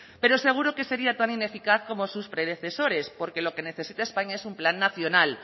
pero seguro que sería tan ineficaz como sus predecesores porque lo que necesita españa es un plan nacional